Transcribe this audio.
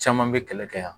Caman bɛ kɛlɛ kɛ yan